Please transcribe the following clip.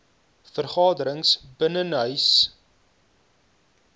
vergaderings binnenshuise sport